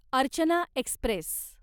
Archana Express